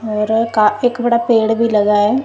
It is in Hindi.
और का एक बड़ा पेड़ भी लगा है।